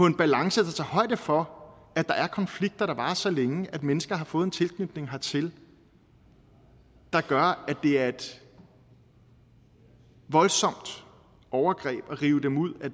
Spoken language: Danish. en balance der tager højde for at der er konflikter der varer så længe at mennesker har fået en tilknytning hertil der gør at det er et voldsomt overgreb at rive dem ud af